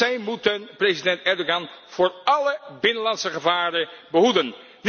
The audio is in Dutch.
Zij moeten president Erdogan voor alle binnenlandse gevaren behoeden.